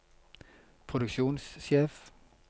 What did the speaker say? produksjonssjef